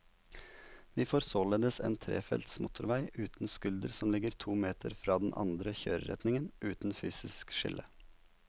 Vi får således en trefelts motorvei uten skulder som ligger to meter fra den andre kjøreretningen, uten fysisk skille.